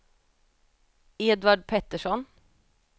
Edvard Pettersson